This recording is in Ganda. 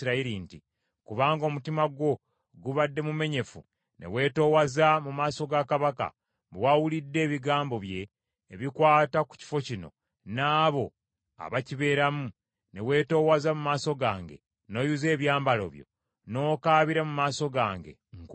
“Kubanga omutima gwo gubadde mumenyefu ne weetoowaza mu maaso ga Katonda, bwe wawulidde ebigambo bye, ebikwata ku kifo kino n’abo abakibeeramu, ne weetoowaza mu maaso gange, n’oyuza ebyambalo byo, n’okaabira mu maaso gange, nkuwulidde.